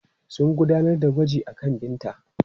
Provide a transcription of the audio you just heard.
Sun gudanar da gwaji akan Binta.